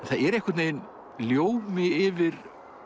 það er einhvern veginn ljómi yfir